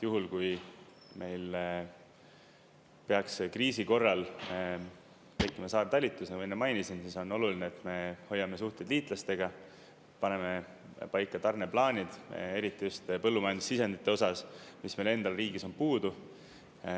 Juhul kui meil peaks kriisi korral tekkima saartalitlus, nagu ma enne mainisin, siis on oluline, et me hoiame suhteid liitlastega, paneme paika tarneplaanid, eriti just põllumajandussisendite osas, mis meile endal riigis on puudu.